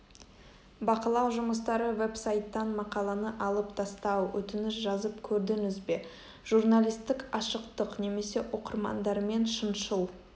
бақылау жұмыстары веб-сайттан мақаланы алып тастау өтініш жазып көрдіңіз бе журналистік ашықтық немесе оқырмандармен шыншыл